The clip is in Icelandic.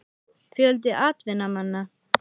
Fjöldi atvinnumanna?